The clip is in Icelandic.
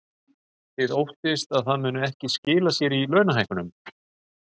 Þið óttist að það muni ekki skila sér í launahækkunum?